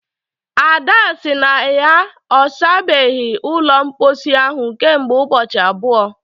Ada sị na ya ọ sabeghị ụlọ mposi ahụ kemgbe ụbọchị abụọ